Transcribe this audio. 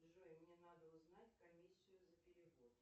джой мне надо узнать комиссию за перевод